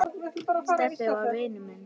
Stebbi var vinur minn.